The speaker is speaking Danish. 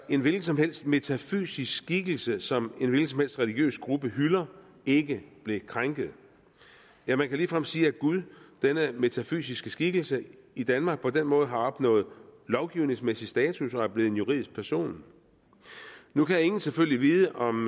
en hvilken som helst metafysisk skikkelse som en hvilken som helst religiøs gruppe hylder ikke bliver krænket ja man kan ligefrem sige at gud denne metafysiske skikkelse i danmark på den måde har opnået lovgivningsmæssig status og er blevet en juridisk person nu kan ingen selvfølgelig vide om